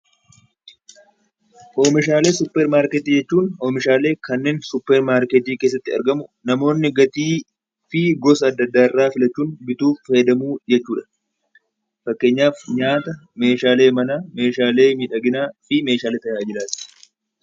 Oomishaalee suupparmaarkeetii jechuun oomishaalee kanneen suupparmaarkeetii keessatti argamu namoonni gatii fi gosa adda addaa bituun fayyadamu jechuudha. Fakkeenyaaf nyaata, meeshaalee manaa, meeshaalee miidhaginaaf meeshaalee tajaajilan